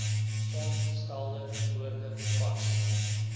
saamgestelde woorde vas